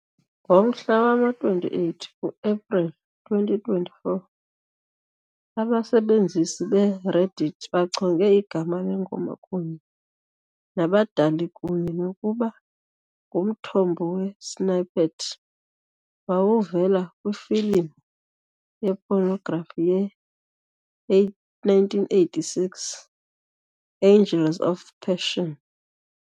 Ngomhla wama-28 ku-Epreli 2024, abasebenzisi be-Reddit bachonge igama lengoma kunye nabadali kunye nokuba ngumthombo wesnippet wawuvela kwifilimu ye-pornography ye-1986 "Angels of Passion".